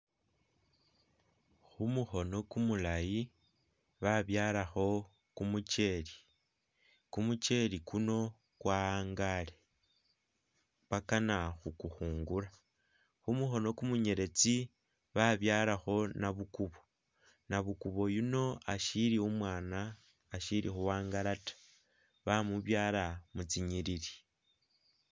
Khumukhono kumulayi babyalakho kumukyele kumukyele kuno kwa'angale bakana khukukhungula khumu khono kumunyeletsi babyalakho nabukubo nabukubo yuno ashili umwana ashili khu'angala ta bamubyala mutsinyilili